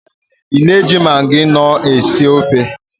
Ị na-eji magị nọọ esi ofe?